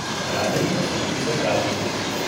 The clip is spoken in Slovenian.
Pravi, da so ulice prazne.